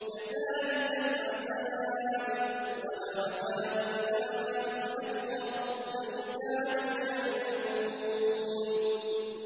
كَذَٰلِكَ الْعَذَابُ ۖ وَلَعَذَابُ الْآخِرَةِ أَكْبَرُ ۚ لَوْ كَانُوا يَعْلَمُونَ